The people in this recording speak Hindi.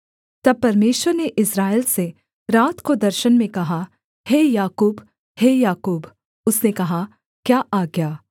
तब परमेश्वर ने इस्राएल से रात को दर्शन में कहा हे याकूब हे याकूब उसने कहा क्या आज्ञा